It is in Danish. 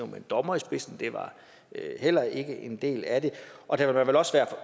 med en dommer i spidsen det var heller ikke en del af det og der vil også være